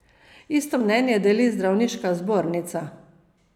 Isto mnenje deli zdravniška zbornica.